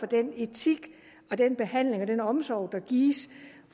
den etik og den behandling og den omsorg der gives